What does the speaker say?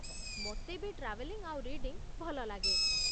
ମୋତେ ବି ଟ୍ରାଭେଲିଂ ଆଉ ରିଡିଂ ଭଲ ଲାଗେ ।